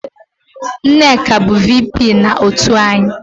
Nneka bụ VP na otu anyị